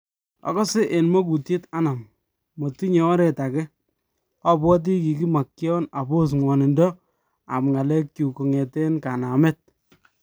"Akase en makutyet anum , matinye oreet akee , abwati kikimakyan aboss ngwanindo ab ng'alek chuk kong'eten kanameet.